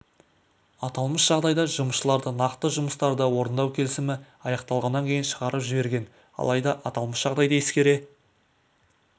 аталмыш жағдайда жұмысшыларды нақты жұмыстарды орындау келісімі аяқталғаннан кейін шығарып жіберген алайда аталмыш жағдайды ескере